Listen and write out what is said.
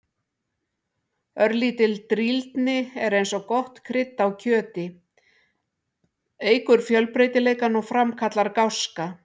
Örlítil drýldni er eins og gott krydd á kjöti, eykur fjölbreytileikann og framkallar gáska.